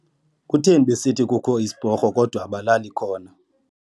Kutheni besithi kukho isiporho kodwa abalali khona.